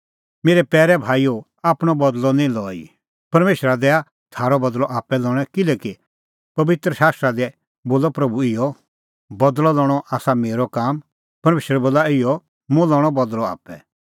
मेरै पैरै भाईओ आपणअ बदल़अ निं लई परमेशरा दैआ थारअ बदल़अ आप्पै लणै किल्हैकि पबित्र शास्त्रा दी बोला प्रभू इहअ बदल़अ लणअ आसा मेरअ काम परमेशर बोला इहअ मुंह लणअ बदल़अ आप्पै